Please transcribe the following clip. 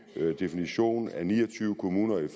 definition af ni og tyve kommuner i